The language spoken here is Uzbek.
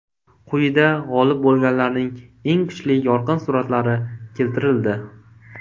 Quyida g‘olib bo‘lganlarning eng kuchli yorqin suratlari keltirildi.